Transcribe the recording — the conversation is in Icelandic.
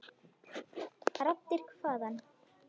Raddir hvaðan?